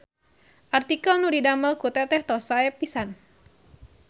Artikel nu didamel ku teteh tos sae pisan